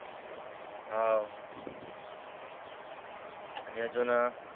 हव आणि अजून